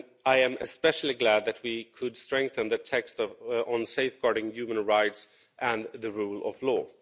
I am especially glad that we could strengthen the text on safeguarding human rights and the rule of law.